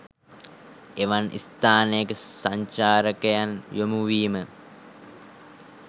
එවන් ස්ථානයක සංචාරකයන් යොමු වීම